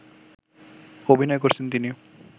অভিনয় করছেন তিনি